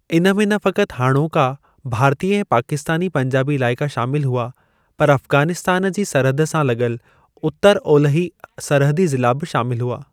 इन में न फ़क़ति हाणोका भारतीय ऐं पाकिस्तानी पंजाबी इलाइका शामिल हुआ, पर अफगानिस्तान जी सरहद सां लॻल उत्तर-ओलही सरहदी ज़िला बि शामिल हुआ।